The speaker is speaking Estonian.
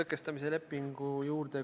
Küsimus Riigikogu esimehele.